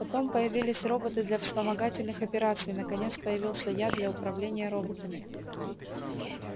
потом появились роботы для вспомогательных операций наконец появился я для управления роботами